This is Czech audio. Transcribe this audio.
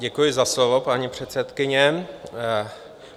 Děkuji za slovo, paní předsedkyně.